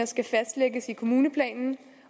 skal fastlægges i kommuneplanen